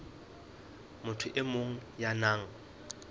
motho e mong ya nang